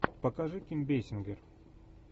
покажи ким бейсингер